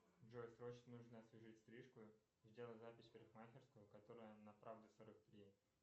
джой срочно нужно освежить стрижку сделай запись в парикмахерскую которая на правды сорок три